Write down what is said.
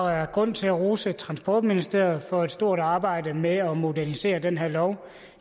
er grund til at rose transportministeriet for et stort arbejde med at modernisere den her lov